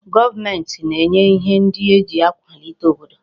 Goomenti na-enye ihe ndi eji akwalite obodo